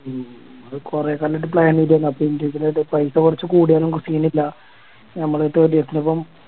ഉം കൊറേക്കാലയിട്ട് Plan ചെയ്തിരുന്നു അപ്പൊ Individual ആയിട്ട് പൈസ കൊറച്ച് കൂടിയാലും Scene ഇല്ല നമ്മളിപ്പോ ഇപ്പൊ